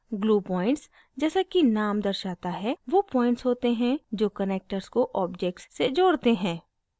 glue points जैसा कि name दर्शाता है वो points होते हैं जो connectors को objects से जोड़ते हैं